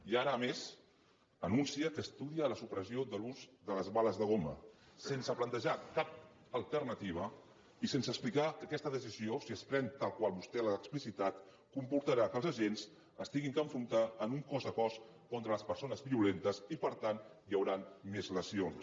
i ara a més anuncia que estudia la supressió de l’ús de les bales de goma sense plantejar cap alternativa i sense explicar que aquesta decisió si es pren tal com vostè l’ha explicitat comportarà que els agents s’hagin d’enfrontar en un cos a cos contra les persones violentes i per tant hi hauran més lesions